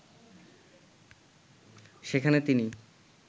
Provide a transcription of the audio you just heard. সেখানে তিনি